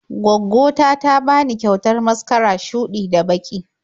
Gwaggo ta ta bani kyautar maskara shuɗi da baƙi.